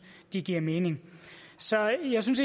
de giver mening så jeg synes